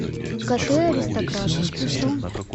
коты аристократы включи